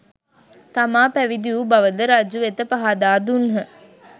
තමා පැවිදි වූ බවද රජුවෙත පහදා දුන්හ